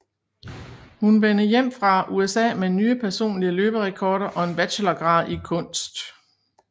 Hun vende hjem fra USA med nye personlige løberekorder og en bachelorgrad i kunst